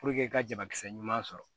i ka jakisɛ ɲuman sɔrɔ